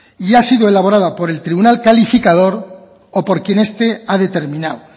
y ha sido elaborada por el tribunal calificador o por quien este ha determinado